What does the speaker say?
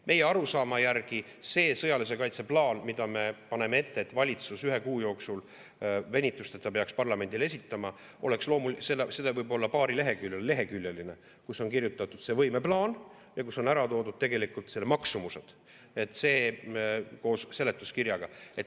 Meie arusaama järgi see sõjalise kaitse plaan, mille, nagu me ette paneme, valitsus ühe kuu jooksul venitusteta peaks parlamendile esitama, oleks võib-olla paarileheküljeline, kus on kirjas see võimeplaan ja kus on ära toodud selle maksumus koos seletuskirjaga.